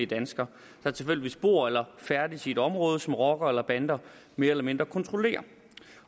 dansker der tilfældigvis bor eller færdes i et område som rockere eller bander mere eller mindre kontrollerer